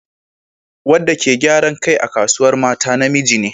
Wadda ke gyaran kai a Kasuwar Mata namiji ne.